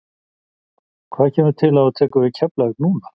Hvað kemur til að þú tekur við Keflavík núna?